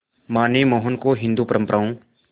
मां ने मोहन को हिंदू परंपराओं